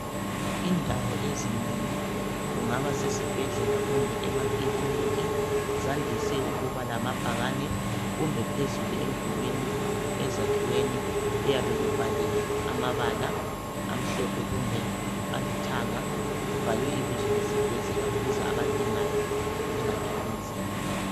Indawo ezinengi, kungaba sesibhedlela kumbe emakiliniki, zandise kuba lamabhakani kumbe phezulu umdulwini,, ezakhiweni, kuyabe kubhaliwe amabala, amhlophe kumbe alithanga, kubhalwe ibizo lesibhedlela ukuze abadingayo bengathwali nzima.